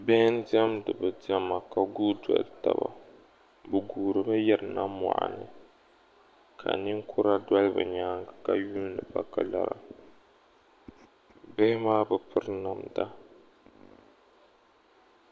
bihi n-diɛmdi bɛ diɛma ka guui doli taba bɛ guurimi yirina mɔɣuni ka ninkura doli bɛ nyaaŋga ka yuuni ba ka lara bihi maa bi piri namda